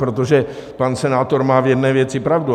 Protože pan senátor má v jedné věci pravdu.